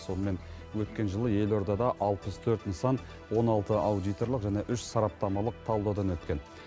сонымен өткен жылы елордада алпыс төрт нысан он алты аудиторлық және үш сараптамалық талдаудан өткен